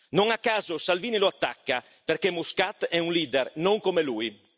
Non a caso Salvini lo attacca perché Muscat è un leader, non come lui.